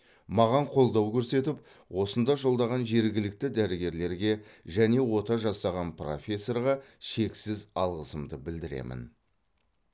маған қолдау көрсетіп осында жолдаған жергілікті дәрігерлерге және ота жасаған профессорға шексіз алғысымды білдіремін